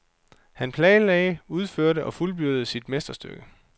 Han planlagde, udførte og fuldbyrdede sit mesterstykke.